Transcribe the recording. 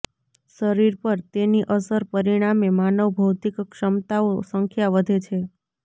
શરીર પર તેની અસર પરિણામે માનવ ભૌતિક ક્ષમતાઓ સંખ્યા વધે છે